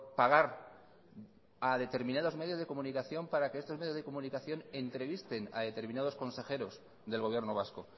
pagar a determinados medios de comunicación para que estos medios de comunicación entrevisten a determinados consejeros del gobierno vasco